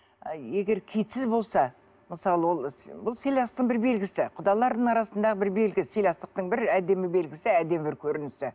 егер киітсіз болса мысалы ол бұл сыйластықтың бір белгісі құдалардың арасында бір белгі сыйластықтың бір әдемі белгісі әдемі бір көрінісі